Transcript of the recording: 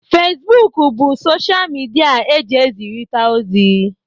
Facebook bụ soshal midia eji ezirita ozi.